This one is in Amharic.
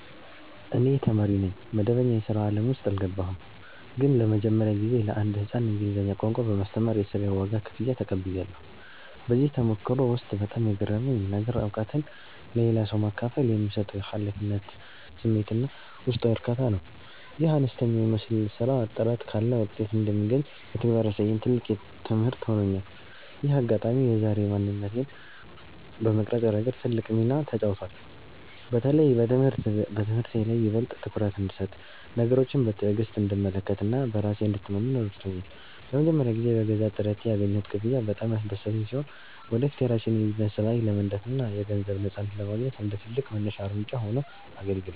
እኔ ተማሪ ነኝ፣ መደበኛ የሥራ ዓለም ውስጥ አልገባሁም። ግን ለመጀመሪያ ጊዜ ለአንድ ሕፃን እንግሊዝኛ ቋንቋ በማስተማር የሥራዬን ዋጋ (ክፍያ) ተቀብያለሁ። በዚህ ተሞክሮ ውስጥ በጣም የገረመኝ ነገር፣ እውቀትን ለሌላ ሰው ማካፈል የሚሰጠው የኃላፊነት ስሜትና ውስጣዊ እርካታ ነው። ይህ አነስተኛ የሚመስል ሥራ ጥረት ካለ ውጤት እንደሚገኝ በተግባር ያሳየኝ ትልቅ ትምህርት ሆኖኛል። ይህ አጋጣሚ የዛሬ ማንነቴን በመቅረጽ ረገድ ትልቅ ሚና ተጫውቷል። በተለይም በትምህርቴ ላይ ይበልጥ ትኩረት እንድሰጥ፣ ነገሮችን በትዕግሥት እንድመለከትና በራሴ እንድተማመን ረድቶኛል። ለመጀመሪያ ጊዜ በገዛ ጥረቴ ያገኘሁት ክፍያ በጣም ያስደሰተኝ ሲሆን፣ ወደፊት የራሴን የቢዝነስ ራዕይ ለመንደፍና የገንዘብ ነፃነትን ለማግኘት እንደ ትልቅ መነሻ እርምጃ ሆኖ አገልግሏል።